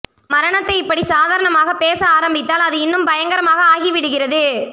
மரணத்தை இப்படி சாதாரனமாக பேச ஆரம்பித்தால் அது இன்னும் பயங்கரமாக ஆகிவிடுகிறது